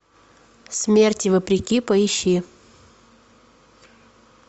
смерти вопреки поищи